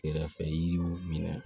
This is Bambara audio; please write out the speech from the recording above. Kɛrɛfɛ yiriw minɛ